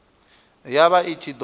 ya vha i ṱshi ḓo